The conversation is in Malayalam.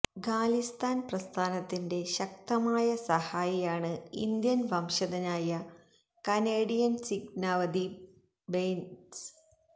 ഖാലിസ്ഥാന് പ്രസ്ഥാനത്തിന്റെ ശക്തമായ സഹായിയാണ് ഇന്ത്യന് വംശജനായ കനേഡിയന് സിഖ് നവദീപ് ബെയ്ന്സ്